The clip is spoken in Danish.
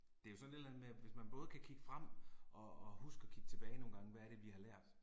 Det er jo sådan et eller andet med, at hvis man både kan kigge frem og og huske at kigge tilbage nogle gange, hvad er det vi har lært